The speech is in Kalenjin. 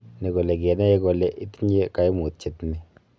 Ni k ole kinae kole itinye kaimutiet ni